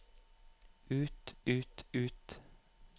ut ut ut